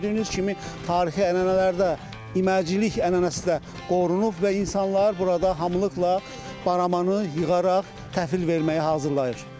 Gördüyünüz kimi tarixi ənənələrdə iməcilik ənənəsi də qorunub və insanlar burada hamılıqla baramanı yığaraq təhvil verməyə hazırlayır.